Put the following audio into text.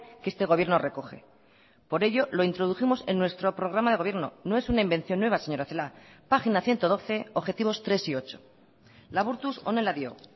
que este gobierno recoge por ello lo introdujimos en nuestro programa de gobierno no es una invención nueva señora celaá página ciento doce objetivos tres y ocho laburtuz honela dio